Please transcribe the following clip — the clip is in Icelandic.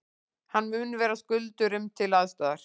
Hann mun vera skuldurum til aðstoðar